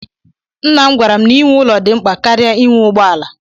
Nnam gwara m na ịnwe ụlọ dị mkpa karịa inwe ụgbọala